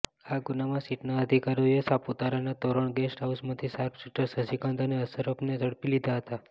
આ ગુનામાં સીટના અધિકારીઓએ સાપુતારાના તોરણ ગેસ્ટ હાઉસમાંથી શાર્પશૂટર શશીકાંત અને અશરફને ઝડપી લીધા હતા